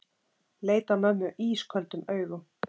Leit á mömmu ísköldum augum.